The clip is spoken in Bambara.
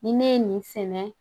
Ni ne ye nin sɛnɛ